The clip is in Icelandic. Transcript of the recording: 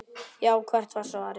Já, hvert var svarið?